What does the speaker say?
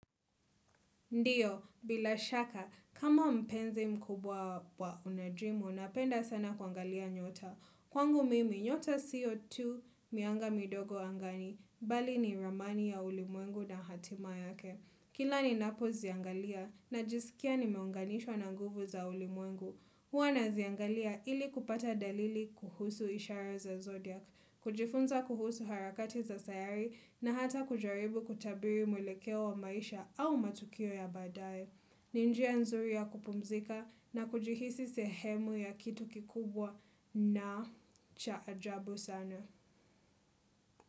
Ndio, bila shaka, kama mpenzi mkubwa wa unajimu, napenda sana kuangalia nyota. Kwangu mimi, nyota sio tu mianga midogo angani, bali ni ramani ya ulimwengu na hatima yake. Kila ninapo ziangalia, najisikia nimeunganishwa na nguvu za ulimwengu. Huwa naziangalia ili kupata dalili kuhusu ishara za zodiac, kujifunza kuhusu harakati za sayari na hata kujaribu kutabiri mwelekeo wa maisha au matukio ya badae. Ni njia nzuri ya kupumzika na kujihisi sehemu ya kitu kikubwa na cha ajabu sana.